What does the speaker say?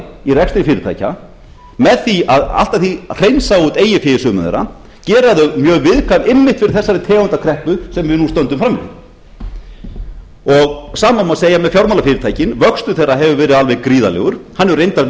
í rekstri fyrirtækja með því að allt að því hreinsa út eigið fé í sumum þeirra gera þau mjög viðkvæm einmitt fyrir þessari tegund af kreppu sem við nú stöndum frammi fyrir sama má segja með fjármálafyrirtækin vöxtur þeirra hefur verið alveg gríðarlegur hann hefur reyndar